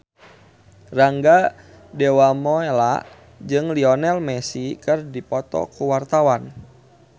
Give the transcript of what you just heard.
Rangga Dewamoela jeung Lionel Messi keur dipoto ku wartawan